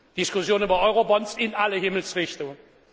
Diskussionen über Eurobonds in alle Himmelsrichtungen.